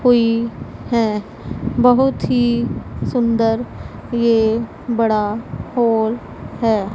कोई है बहुत ही सुंदर ये बड़ा हॉल है।